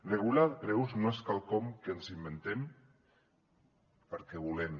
regular preus no és quelcom que ens inventem perquè volem